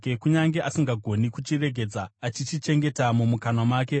kunyange asingagoni kuchiregedza achichichengeta mumukanwa make,